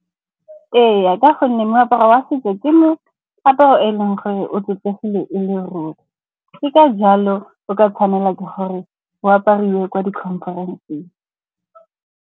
Ee, ka gonne meaparo wa setso ke meaparo e leng gore o sotlegile e le ruri. Ke ka jalo o ka tshwanela ke gore o apariwe ko di-conference-eng.